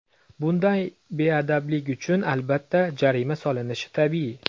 Bunday beadablik uchun, albatta, jarima solinishi tabiiy.